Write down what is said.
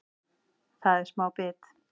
Það er smá bit